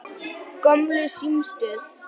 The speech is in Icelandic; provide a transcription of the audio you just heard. Gömlu símstöð